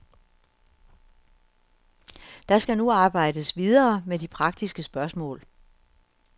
Der skal nu arbejdes videre med de praktiske spørgsmål.